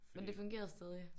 Men det fungerede stadig?